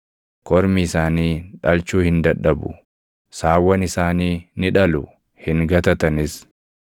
Kormi isaanii dhalchuu hin dadhabu; saawwan isaanii ni dhalu; hin gatatanis.